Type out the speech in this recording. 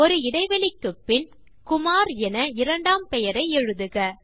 ஒரு இடைவெளிக்குப்பின் குமார் என இரண்டாம் பெயரை எழுதுக